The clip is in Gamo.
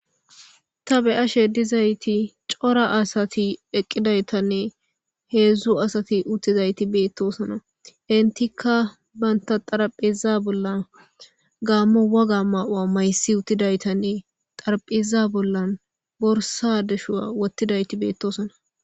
Ta be7ashe dizayti cora asati eqqidaytanne heedzdzu asati uttizayti beettosona intikka banta xaraphiza bollan gaammo waga ma7aa maysi uttidaytanne xarphiza bollan borsa deshua wottidayti beettosona.